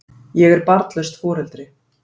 Ég er barnlaust foreldri.